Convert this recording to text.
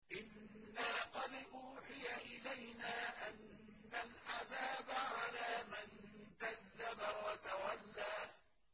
إِنَّا قَدْ أُوحِيَ إِلَيْنَا أَنَّ الْعَذَابَ عَلَىٰ مَن كَذَّبَ وَتَوَلَّىٰ